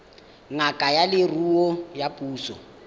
ngaka ya leruo ya puso